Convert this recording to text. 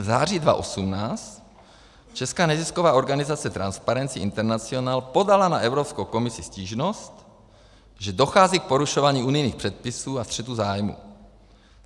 V září 2018 česká nezisková organizace Transparency International podala na Evropskou komisi stížnost, že dochází k porušování unijních předpisů a střetu zájmů.